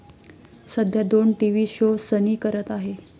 सध्या दोन TV show Sunny करत आहे.